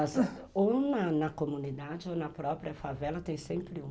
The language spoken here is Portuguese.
Ou na comunidade ou na própria favela tem sempre uma.